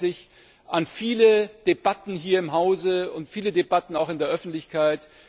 Sie erinnern sich an viele Debatten hier im Hause und auch viele Debatten in der Öffentlichkeit.